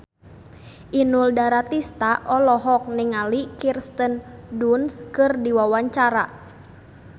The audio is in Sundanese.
Inul Daratista olohok ningali Kirsten Dunst keur diwawancara